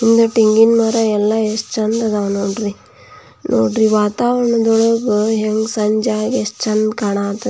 ಇಲ್ಲಿ ತೆಂಗಿನ ಮರಗಳು ಎಷ್ಟು ಚಂದ್ ಇದ್ದವೇ ನೋಡ್ರಿ ನೋಡ್ರಿ ವಾತಾವರಣ ಸಂಜೆ ಎಷ್ಟು ಚಂದ್ ಕಾನಕಥತೆ--